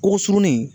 Ko surunin